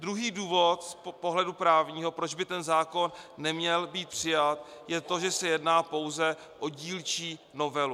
Druhý důvod z pohledu právního, proč by ten zákon neměl být přijat, je to, že se jedná pouze o dílčí novelu.